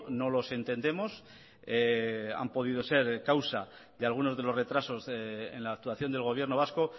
no los entendemos han podido ser causa de algunos de los retrasos en la actuación del gobierno vasco